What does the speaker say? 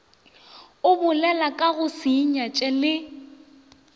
a bolelakago se inyatše le